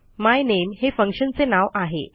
मायनेम हे फंक्शन चे नाव आहे